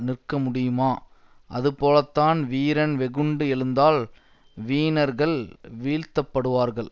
நிற்க முடியுமா அதுபோலத்தான் வீரன் வெகுண்டு எழுந்தால் வீணர்கள் வீழ்த்தப்படுவார்கள்